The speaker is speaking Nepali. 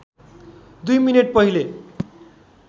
दुई मिनेट पहिले